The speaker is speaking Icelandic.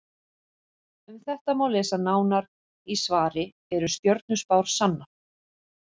Um þetta má lesa nánar í svari Eru stjörnuspár sannar?